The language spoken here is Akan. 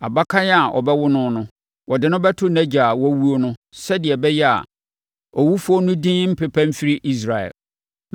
Abakan a wɔbɛwo no no, wɔde no bɛto nʼagya a wawuo no sɛdeɛ ɛbɛyɛ a, owufoɔ no din rempepa mfiri Israel.